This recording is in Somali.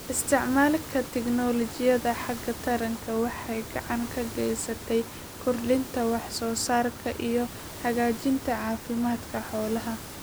Isticmaalka tignoolajiyada xagga taranta waxay gacan ka geysataa kordhinta wax soo saarka iyo hagaajinta caafimaadka xoolaha.